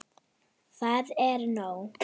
Það er bara nóg.